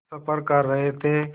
सफ़र कर रहे थे